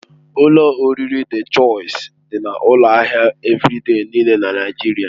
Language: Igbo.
Ụlọ oriri Dị Chọisi dị na ụlọ ahịa Evịrịde niile na Naigeria.